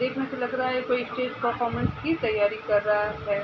देखने से लग रहा है कोई स्टेज परर्फोमन्स की तैयारी कर रहा है।